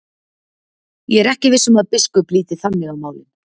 Ég er ekki viss um að biskup líti þannig á málin.